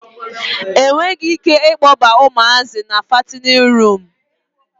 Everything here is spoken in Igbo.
A nweghi ike ịkpọba ụmụazị na fatinin ruumụ.